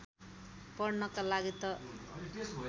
पढ्नका लागि त